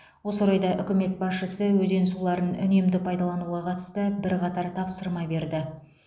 осы орайда үкімет басшысы өзен суларын үнемді пайдалануға қатысты бірқатар тапсырма берді